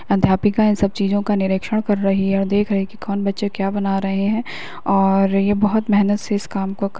अध्यापिका इन सब चीजों का निरिक्षण कर रही है और देख रही है कौन बच्चे क्या बना रहे हैं और ये बहुत मेहनत से इस काम को --